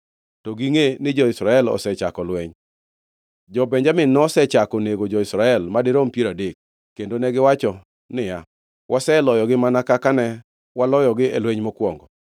to gingʼe ni jo-Israel osechako lweny. Jo-Benjamin nosechako nego jo-Israel (madirom piero adek), kendo negiwacho niya, “Waseloyogi mana kaka ne waloyogi e lweny mokwongo.”